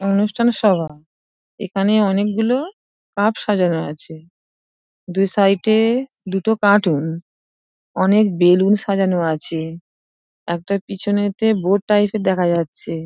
অনুষ্ঠান সভা এখানে অনেকগুলো কাপ সাজানো আছে । দু সাইড -এ দুটো কাটুন অনেক বেলুন সাজানো আছে । একটা পিছনেতে বোর্ড টাইপের দেখা যাচ্ছে।